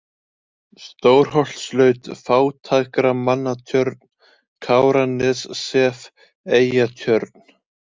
Stórholtslaut, Fátækramannatjörn, Káranessef, Eyjatjörn